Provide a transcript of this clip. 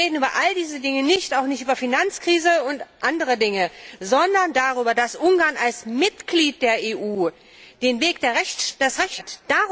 Wir reden über all diese Dinge nicht, auch nicht über Finanzkrise und andere Dinge, sondern darüber, dass Ungarn als Mitglied der EU den Weg des Rechtsstaates verlassen hat.